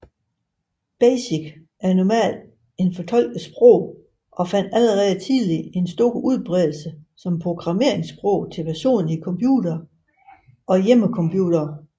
BASIC er normalt et fortolket sprog og fandt allerede tidligt en stor udbredelse som programmeringssprog til personlige computere og hjemmecomputere